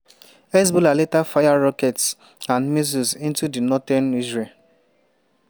hezbollah later fire rockets and missiles into into northern israel.